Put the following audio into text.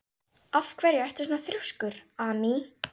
Af hverju ertu svona þrjóskur, Amý?